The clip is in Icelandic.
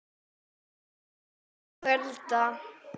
Kona bíður í kulda